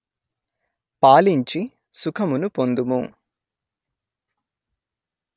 పాలించి సుఖమును పొందుము